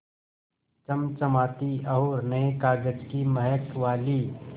चमचमाती और नये कागज़ की महक वाली